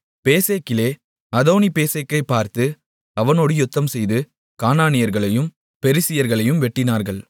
பேசேக்கிலே அதோனிபேசேக்கைப் பார்த்து அவனோடு யுத்தம்செய்து கானானியர்களையும் பெரிசியர்களையும் வெட்டினார்கள்